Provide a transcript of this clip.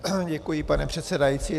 Děkuji, pane předsedající.